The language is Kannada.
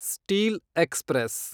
steel express